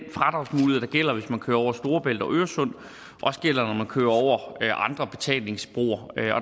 gælder hvis man kører over storebælt og øresund også gælder når man kører over andre betalingsbroer